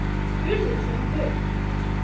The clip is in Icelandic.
Hurðin hrökk upp!